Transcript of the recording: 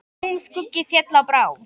Húm skuggi féll á brá.